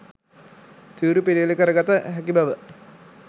සිවුරු පිළියෙල කරගත හැකි බව